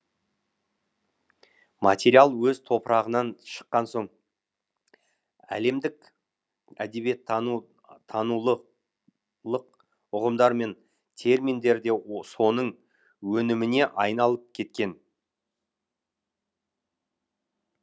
материал өз топырағынан шыққан соң әлемдік әдебиеттанулық ұғымдар мен терминдер де соның өніміне айналып кеткен